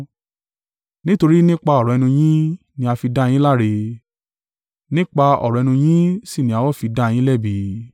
Nítorí nípa ọ̀rọ̀ ẹnu yín ni a fi dá yin láre, nípa ọ̀rọ̀ ẹnu yín sì ni a ó fi dá yin lẹ́bi.”